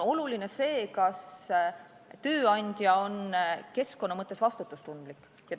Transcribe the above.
Oluline on see, kas tööandja on keskkonna mõttes vastutustundlik.